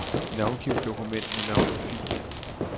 Navngiv dokument med navnet fil.